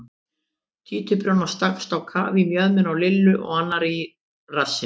Títuprjónn stakkst á kaf í mjöðmina á Lillu og annar í rassinn.